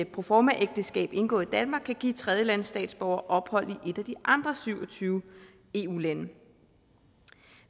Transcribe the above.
proformaægteskab indgået i danmark kan give tredjelandsstatsborgere ophold i et af de andre syv og tyve eu lande